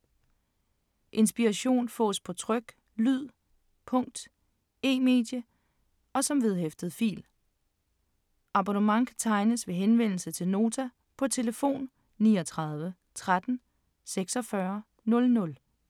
Inspiration fås på tryk, lyd, punkt, e-medie og som vedhæftet fil. Abonnement kan tegnes ved henvendelse til Nota på tlf. 39 13 46 00.